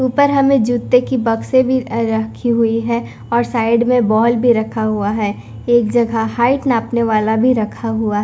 ऊपर हमें जूते की बक्से भी रखी हुई है और साइड में बोल भी रखा हुआ है एक जगह हाइट नापने वाला भी रखा हुआ--